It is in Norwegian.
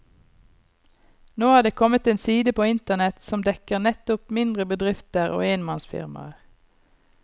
Nå er det kommet en side på internett som dekker nettopp mindre bedrifter og enmannsfirmaer.